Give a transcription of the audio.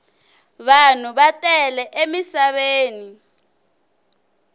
vanhu va tele emisaveni